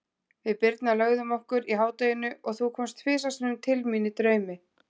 Við Birna lögðum okkur í hádeginu og þú komst tvisvar sinnum til mín í draumi.